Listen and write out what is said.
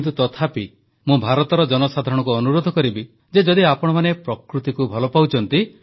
କିନ୍ତୁ ମୁଁ ଭାରତର ଜନସାଧାରଣଙ୍କୁ ଅନୁରୋଧ କରିବି ଯେ ଯଦି ଆପଣମାନେ ପ୍ରକୃତିକୁ ଭଲ ପାଉଛନ୍ତି